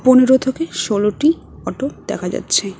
পনেরো থেকে ষোলোটি অটো দেখা যাচ্ছে।